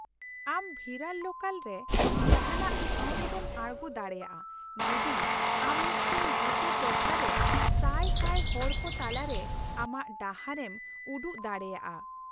ᱟᱢ ᱵᱷᱤᱨᱟᱨ ᱞᱳᱠᱟᱞ ᱨᱮ ᱡᱟᱦᱟᱸᱴᱟᱜ ᱴᱷᱟᱣ ᱨᱮᱜᱮᱢ ᱟᱲᱜᱚ ᱫᱟᱲᱮᱭᱟᱜᱼᱟ ᱡᱩᱫᱤ ᱟᱢ ᱢᱤᱫᱴᱟᱝ ᱵᱩᱴᱟᱹ ᱴᱚᱴᱷᱟ ᱨᱮ ᱥᱟᱭ ᱥᱟᱭ ᱦᱚᱲ ᱠᱚ ᱛᱟᱞᱟᱨᱮ ᱟᱢᱟᱜ ᱰᱟᱦᱟᱨ ᱮᱢ ᱩᱰᱩᱠ ᱫᱟᱲᱮᱭᱟᱜᱼᱟ ᱾